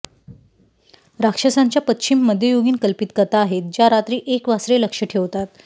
राक्षसांच्या पश्चिम मध्ययुगीन कल्पित कथा आहेत ज्या रात्री एक वासरे लक्ष्य ठेवतात